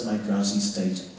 hans